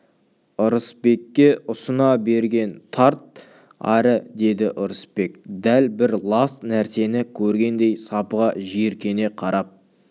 ырысбекке ұсына берген тарт ары деді ырысбек дәл бір лас нәрсені көргендей сапыға жиіркене қарап